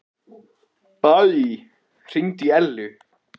Baui, hringdu í Ellu.